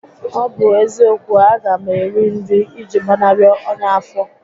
Ọ bụ eziokwu, a ga m eri nri iji gbanarị onya afọ